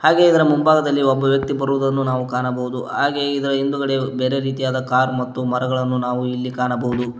ಹಾಗೆ ಇದರ ಮುಂಭಾಗದಲ್ಲಿ ಒಬ್ಬ ವ್ಯಕ್ತಿ ಬರುವುದನ್ನು ನಾವು ಕಾಣಬಹುದು ಹಾಗೆ ಇದರ ಹಿಂದುಗಡೆ ಬೇರೆ ರೀತಿಯಾದ ಕಾರ್ ಮತ್ತು ಮರಗಳನ್ನು ನಾವು ಇಲ್ಲಿ ಕಾಣಬಹುದು.